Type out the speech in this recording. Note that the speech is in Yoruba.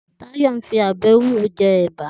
Tayo n fi òbè éwúró jè èbá